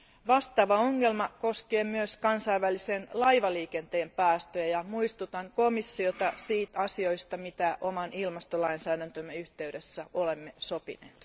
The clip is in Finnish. Vastaava ongelma koskee myös kansainvälisen laivaliikenteen päästöjä ja muistutan komissiota asioista, joista oman ilmastolainsäädäntömme yhteydessä olemme sopineet.